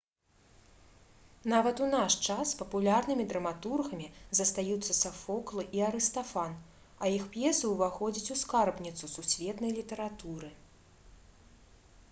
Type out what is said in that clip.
нават у наш час папулярнымі драматургамі застаюцца сафокл і арыстафан а іх п'есы ўваходзяць у скарбніцу сусветнай літаратуры